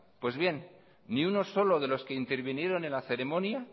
pues bien ni uno solo de los que intervinieron en la ceremonia